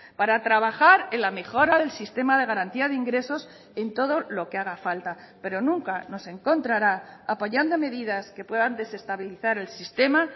para trabajar en la mejora del sistema de garantía de ingresos en todo lo que haga falta pero nunca nos encontrará apoyando medidas que puedan desestabilizar el sistema